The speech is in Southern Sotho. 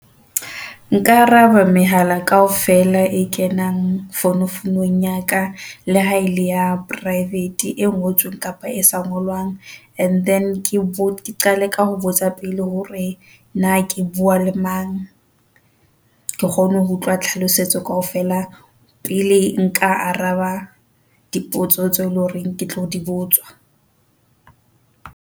Nka araba mehala kaofela e kenang founu founong ya ka. Le ha ele ya private e ngotsweng kapa e se ngolwang. And then ke qale ka ho botsa pele hore na ke bua le mang, ke kgone ho utlwa tlhalosetso kaofela pele nka araba dipotso tse eleng hore ke tlo dibotswa.